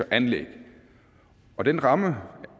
anlæg og den ramme